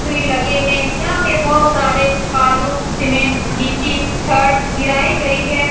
लगे हैं। यहाँ पे बोहोत सारे बालू सीमेंट गिट्टी छड़ गिराई गयी है।